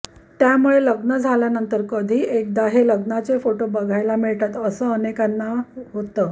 त्यामुळे लग्न झाल्यानंतर कधी एकदा हे लग्नाचे फोटो बघायला मिळतात असं अनेकांना होतं